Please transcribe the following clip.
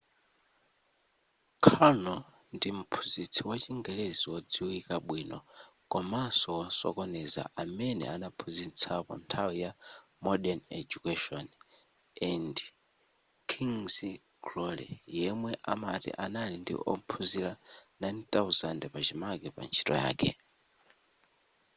karno ndi mphunzitsi wa chingelezi wodziwika bwino komanso wosokoneza amene anaphunzitsapo nthawi ya modern education and king's glory yemwe amati anali ndi ophunzira 9,000 pachimake pa ntchito yake